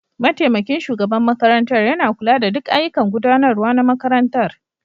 Mataimakin shugaban makarantar yana kula da duk ayyukan gudanarwa na makarantar.